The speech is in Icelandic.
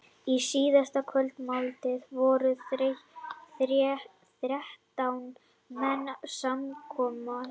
Í síðustu kvöldmáltíðinni voru þrettán menn samankomnir.